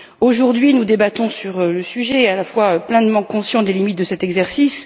Aujourd'hui nous débattons sur ce sujet, mais nous sommes pleinement conscients des limites de cet exercice.